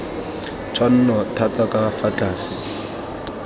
tshwanno thata ka fa tlase